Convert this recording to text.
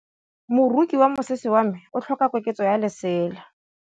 Moroki wa mosese wa me o tlhoka koketsô ya lesela.